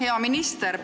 Hea minister!